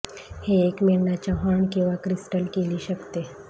हे एक मेंढा च्या हॉर्न किंवा क्रिस्टल केली शकते